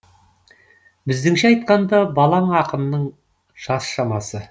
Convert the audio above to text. біздіңше айтқанда балаң ақынның жас шамасы